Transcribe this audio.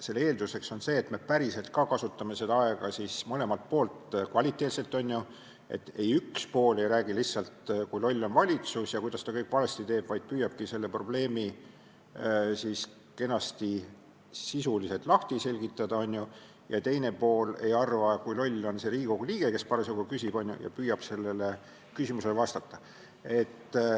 Selle eelduseks on see, et me päriselt ka kasutame aega kvaliteetselt mõlemalt poolt, et üks pool ei räägi lihtsalt, kui loll on valitsus ja kuidas see kõik valesti teeb, vaid püüab probleemi kenasti sisuliselt lahti selgitada, ja teine pool ei arva, kui loll on see Riigikogu liige, kes parasjagu küsib, ja püüab küsimusele vastata.